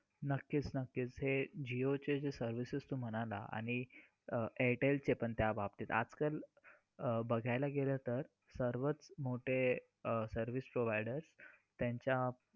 आज जागतिक महिला दिन आज संपूर्ण जगभरात महिला महिलांना महिला दिन दिनानिमित्ताने शुभेच्छा दिल्या जात आहे. whats up वर शुभेच्छा दिल्या जात आहेत.